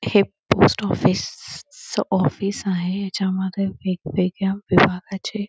हे post office च office आहे हेच्या मागे एक वेगवेगळ्या विभागाचे--